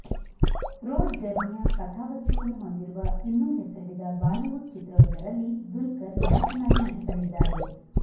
ರೋಡ್ಜರ್ನಿಯ ಕಥಾವಸ್ತುವನ್ನು ಹೊಂದಿರುವ ಇನ್ನೂ ಹೆಸರಿಡದ ಬಾಲಿವುಡ್ ಚಿತ್ರವೊಂದರಲ್ಲಿ ದುಲ್ಕರ್ ನಾಯಕನಾಗಿ ನಟಿಸಲಿದ್ದಾರೆ